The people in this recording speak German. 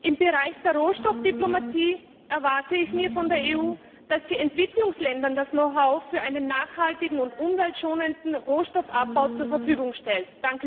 Im Bereich der Rohstoffdiplomatie erwarte ich von der EU, dass sie Entwicklungsländern das Know how für einen nachhaltigen und umweltschonenden Rohstoffabbau zur Verfügung stellt.